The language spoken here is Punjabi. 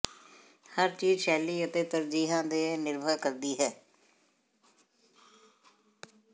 ਹਰ ਚੀਜ਼ ਸ਼ੈਲੀ ਅਤੇ ਤਰਜੀਹਾਂ ਤੇ ਨਿਰਭਰ ਕਰਦੀ ਹੈ